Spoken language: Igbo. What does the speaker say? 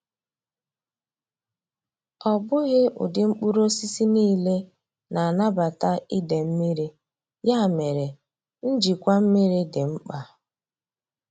Ọ bụghị ụdị mkpụrụ osisi niile na-anabata ide mmiri, ya mere, njikwa mmiri dị mkpa.